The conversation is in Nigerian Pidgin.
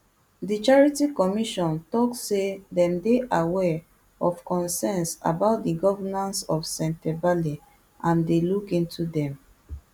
di charity commission tok say dem dey aware of concerns about di governance of sentebale and dey look into dem